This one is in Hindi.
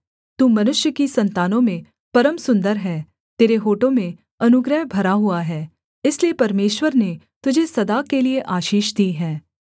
तू मनुष्य की सन्तानों में परम सुन्दर है तेरे होठों में अनुग्रह भरा हुआ है इसलिए परमेश्वर ने तुझे सदा के लिये आशीष दी है